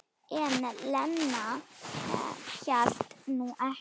En Lena hélt nú ekki.